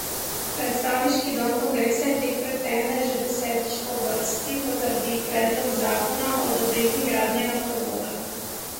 Predstavniški dom kongresa je tik pred tem, da že desetič po vrsti potrdi predlog zakona o odobritvi gradnje naftovoda.